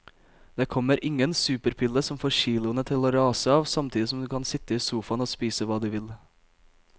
Det kommer ingen superpille som får kiloene til å rase av samtidig som du kan sitte i sofaen og spise hva du vil.